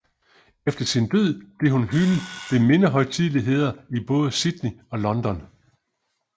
Efter sin død blev hun hyldet ved mindehøjtideligheder i både Sydney og London